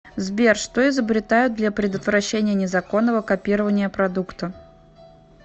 сбер что изобретают для предотвращения незаконного копирования продукта